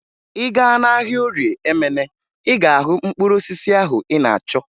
Ị gaa n'ahịa Orie Emene, ị ga-ahụ mkpụrụ osisi ahụ ị na-achọ